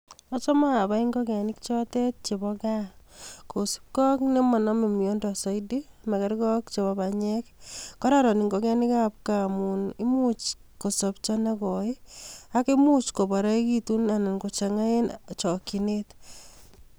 Achome abai ing'okenik chotet cheboo kaa kosipkee ak nemonome miondo soitii, makerkee ak cheboo banyek, kororon ing'okenikab kaa amun imuch kosobcho nekoii akomuch koboroekitun anan kochang'aitun en chokyinet.